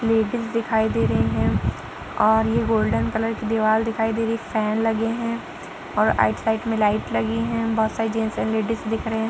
Ladies दिखाई दे रही हैं और ये गोल्डन कलर की दीवार दिखाई दे रही है। फैन लगे हैं और राइट साइड में लाइट लगी हैं। बहोत सारे जेंट्स और लेडिस दिख रहे --